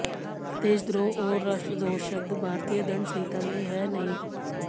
देशद्रोह और राष्ट्रद्रोह शब्द भारतीय दंड संहिता में हैं ही नहीं